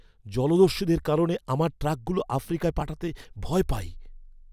জলদস্যুদের কারণে আমার ট্রাকগুলো আফ্রিকায় পাঠাতে ভয় পাই।